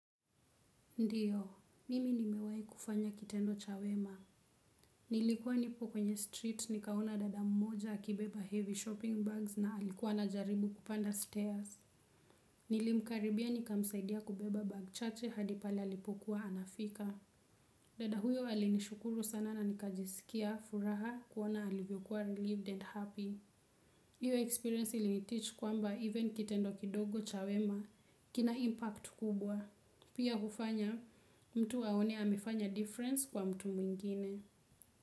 Ndiyo, mimi nimewahi kufanya kitendo cha wema. Nilikuwa nipo kwenye street, nikaona dada mmoja akibeba heavy shopping bags na alikuwa anajaribu kupanda stairs. Nilimkaribia nikamsaidia kubeba bag chache hadi pale alipokuwa anafika. Dada huyo alinishukuru sana na nikajisikia furaha kuona alivyokuwa relieved and happy. Hiyo experience iliniteach kwamba even kitendo kidogo cha wema kina impact kubwa. Pia hufanya mtu aone amefanya difference kwa mtu mwingine.